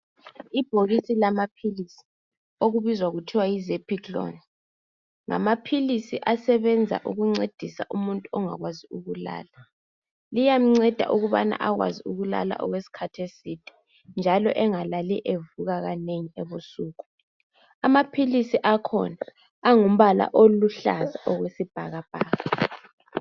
Ibhokisi lamaphilisi abizwa kuthiwa yizephikiloni nngamaphilisi asebenza ukuncedisa umuntu ongakwazi ukulala enza enelise ukulala okwesikhathi eside njalo angalali evuka ebusuku. Amaphilisi akhona aluhlaza okwesibhakabhaka.